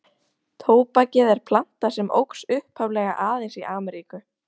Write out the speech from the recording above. Tóbakið er planta sem óx upphaflega aðeins í Ameríku.